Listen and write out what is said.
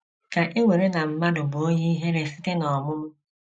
Ka e were na mmadụ bụ onye ihere site n’ọmụmụ.